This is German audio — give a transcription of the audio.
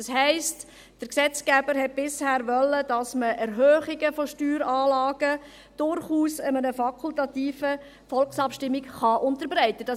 Das heisst, der Gesetzgeber wollte bisher, dass man Erhöhungen von Steueranlagen durchaus einer fakultativen Volksabstimmung unterbreiten kann.